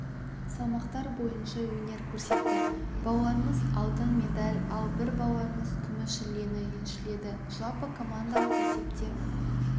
салмақтар бойынша өнер көрсетті балуанымыз алтын медаль ал бір балуанымыз күміс жүлдені еншіледі жалпыкомандалық есепте